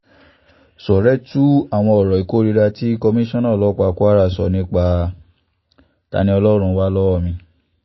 ṣọ́ọ́rẹ́ tú àṣírí àwọn ọ̀rọ̀ ìkórìíra tí kọmíṣánná ọlọ́pàá kwara sọ nípa ta-ni-ọlọ́run wà lọ́wọ́ mi